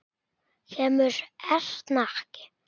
Kemur Erna ekki!